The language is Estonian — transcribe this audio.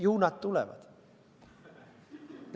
Ju nad tulevad.